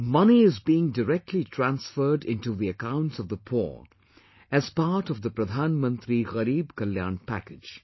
Money is being directly transferred into the accounts of the poor, as part of the Pradhan Mantri Gareeb Kalyan Package